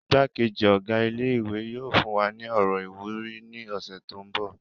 Igbá-kejì Ọ̀gá ilé ìwé yóò fún wa ní ọ̀rọ̀ ìwúrí ní ọ̀sẹ̀ tó mbọ̀